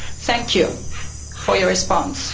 Thank you for your response.